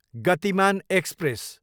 Gatimaan express